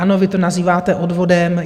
Ano, vy to nazýváte odvodem.